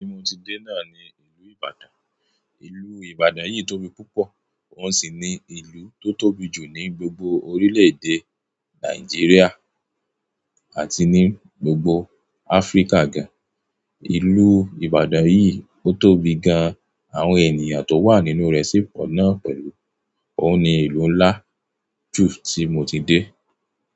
Tí mo ti dé náà ni ìlú Ìbàdàn. Ìlú Ìbàdàn yìí tóbi púpọ̀ òun sì ní ìlú tó tóbi jù ní gbogbo orílè-èdè Nàìjíríà àti ní gbogbo Áfríkà gan. Ìlú Ìbàdàn yìí o tóbi gan, àwọn ènìyàn tó wà nínú rẹ̀ sì pọ̀ náà pẹ̀lú. Óun ní ìlú ńlá jù tí mo ti dé.